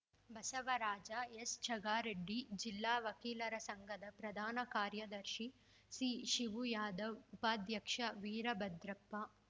ಬಸವರಾಜ ಎಸ್‌ಚಗಾರೆಡ್ಡಿ ಜಿಲ್ಲಾ ವಕೀಲರ ಸಂಘದ ಪ್ರಧಾನ ಕಾರ್ಯದರ್ಶಿ ಸಿಶಿವುಯಾದವ್‌ ಉಪಾಧ್ಯಕ್ಷ ವೀರಭದ್ರಪ್ಪ